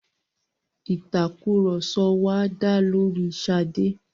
Ìtàkurọ̀sọ wa dá lóri Ṣadé.